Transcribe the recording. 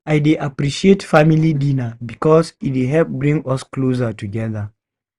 I dey appreciate family dinner because e dey help bring us closer together.